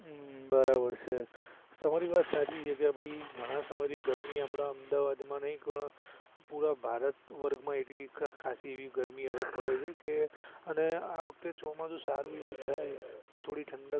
હઃ બરાબર છે તમારી વાત સાચી છે કે ભાઈ ઘણા સમય થી ગરમી આપડા અમદાવાદ માં પણ પુરા ભારત વર્ગ એવી ખાંસી એવી ગરમી હવે પડે છે કે અને આવખતે ચોમાસુ સારું એવું જાય તો થોડી ઠંડક